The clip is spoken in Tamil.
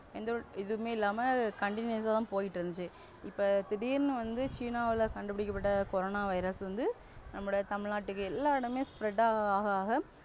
எந்த ஒரு எதுமே இல்லாமல் Continuous தான் போயிட்டு இருந்துச்சு இப்ப திடீர்னு வந்து சீனாவில் கண்டுபிடிக்கப்பட்ட corona virus வந்து நம்முடைய தமிழ் நாட்டுக்கு எல்லா இடமு spread ஆகஆக,